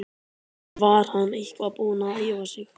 En var hann eitthvað búinn að æfa sig?